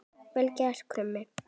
Vel gert, Krummi!